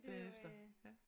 Bagefter ja